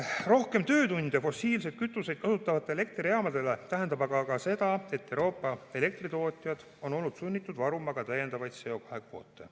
Rohkem töötunde fossiilseid kütuseid kasutavatele elektrijaamadele tähendab aga ka seda, et Euroopa elektritootjad on olnud sunnitud varuma ka täiendavaid CO2 kvoote.